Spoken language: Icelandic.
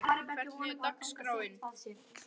Sólberg, hvernig er dagskráin?